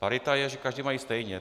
Parita je, že každý má stejně.